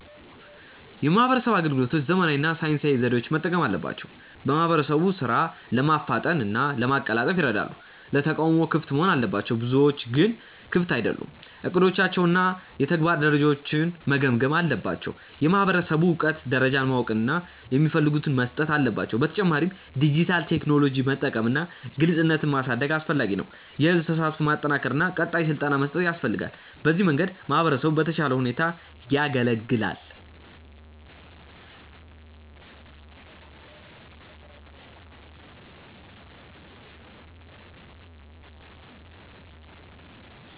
የማህበረሰብ አገልግሎቶች ዘመናዊ እና ሳይንሳዊ ዘዴዎችን መጠቀም አለባቸው። በማህበረሰብ ሥራ ለማፍጠን እና ለማቀላጠፍ ይረዳል። ለተቃውሞ ክፍት መሆን አለባቸው፤ ብዙዎቹ ግን ክፍት አይደሉም። እቅዶቻቸውን እና የተግባር ደረጃውን መገምገም አለባቸው። የማህበረሰብ እውቀት ደረጃን ማወቅ እና የሚፈልገውን መስጠት አለባቸው። በተጨማሪም ዲጂታል ቴክኖሎጂ መጠቀም እና ግልጽነት ማሳደግ አስፈላጊ ነው። የህዝብ ተሳትፎን ማጠናከር እና ቀጣይ ስልጠና መስጠት ያስፈልጋል። በዚህ መንገድ ማህበረሰቡ በተሻለ ሁኔታ ይገለገላል።